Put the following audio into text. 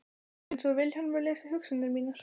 Það er einsog Vilhjálmur lesi hugsanir mínar.